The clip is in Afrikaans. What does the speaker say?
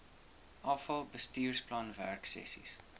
afal bestuursplan werksessies